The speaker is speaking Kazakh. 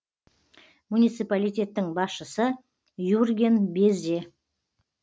муниципалитеттің басшысы юрген безе